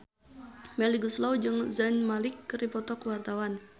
Melly Goeslaw jeung Zayn Malik keur dipoto ku wartawan